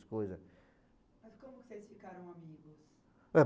coisas. Mas como vocês ficaram amigos?